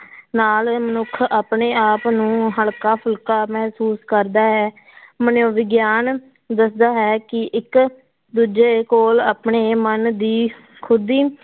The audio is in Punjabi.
ਨਾਲ ਮਨੁੱਖ ਆਪਣੇ ਆਪ ਨੂੰ ਹਲਕਾ ਫੁਲਕਾ ਮਹਿਸੂਸ ਕਰਦਾ ਹੈ ਮਨੋਵਿਗਿਆਨ ਦੱਸਦਾ ਹੈ ਕਿ ਇੱਕ ਦੂਜੇ ਕੋਲ ਆਪਣੇ ਮਨ ਦੀ ਖੁਦੀ